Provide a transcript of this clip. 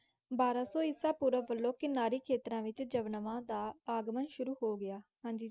ਬਾਰਾਂ ਸੌ ਈਸਾਪੂਰਵ ਵਲੋਂ ਕਿਨਾਰੀ ਖੇਤਰਾਂ ਵਿੱਚ ਯਵਨਾਂ ਦਾ ਆਗਮਨ ਸ਼ੁਰੂ ਹੋ ਗਿਆ। ਹਾਂਜੀ,